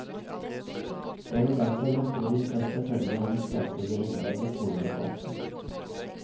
Jeg vil derfor med stor interesse følge hennes fremtidige innlegg i skoledebatten.